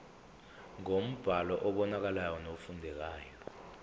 ngombhalo obonakalayo nofundekayo